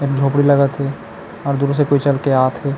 झोपड़ी लगत हे और दूर से कोई चल के आत हे।